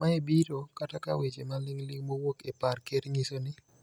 Mae biro kata ka weche maling' ling' mowuok e par ker nyiso ni